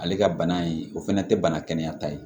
Ale ka bana in o fana tɛ bana kɛnɛya ta ye